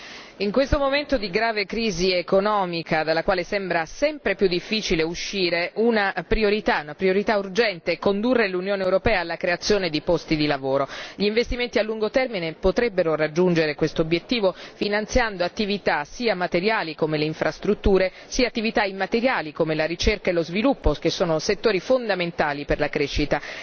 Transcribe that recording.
Signora Presidente, onorevoli colleghi, in questo momento di grave crisi economica dalla quale sembra sempre più difficile uscire, una priorità urgente è condurre l'Unione europea alla creazione di posti di lavoro. Gli investimenti a lungo termine potrebbero raggiungere questo obiettivo, finanziando attività sia materiali, come le infrastrutture, sia immateriali, come la ricerca e lo sviluppo, che sono settori fondamentali per la crescita.